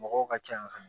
Mɔgɔw ka ca yan nɔ